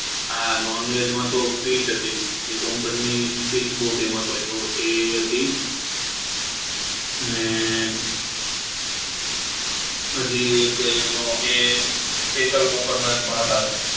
આ non veg માં તો fish હતી એ ની fish બવ famous હોય તો એ હતી ને હજી એ ની special નો એક ભાગ આવે